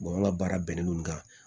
ŋa baara bɛnnen don ka